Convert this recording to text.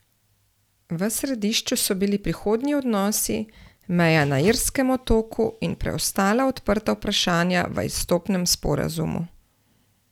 V središču so bili prihodnji odnosi, meja na irskem otoku in preostala odprta vprašanja v izstopnem sporazumu.